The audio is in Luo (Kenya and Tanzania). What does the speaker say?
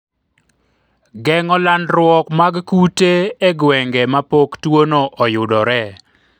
geng'o landruok mag kute e gwenge ma pok tuono oyudore